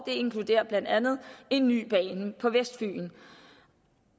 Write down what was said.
det inkluderer blandt andet en ny bane på vestfyn